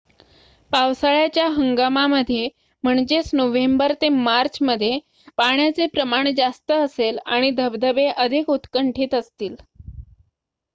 पावसाळ्याच्या हंगामामध्ये नोव्हेंबर ते मार्च पाण्याचे प्रमाण जास्त असेल आणि धबधबे अधिक उत्कंठित असतील